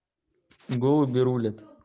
голуби рулят